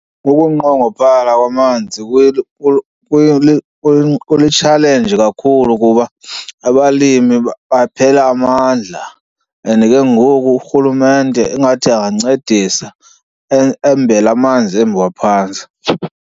Kukunqongophala kwamanzi kuli-challenge kakhulu kuba abalimi baphela amandla and ke ngoku urhulumente ingathi angancedisa embe la amanzi embiwa phantsi.